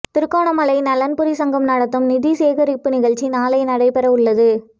திருகோணமலை நலன்புரிச் சங்கம் நடத்தும் நிதி சேகரிப்பு நிகழ்ச்சி நாளை நடைபெறவுள்ளது